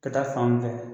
Ka taa fan fɛ